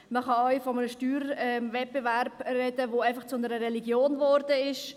Man kann auch von einem Steuerwettbewerb sprechen, der einfach zu einer Religion geworden ist.